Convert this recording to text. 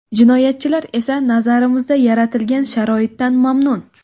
Jinoyatchilar esa nazarimizda yaratilgan sharoitdan mamnun.